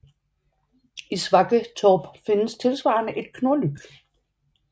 I Svakketorp findes tilsvarende et Knorlyk